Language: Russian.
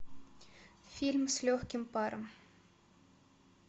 фильм с легким паром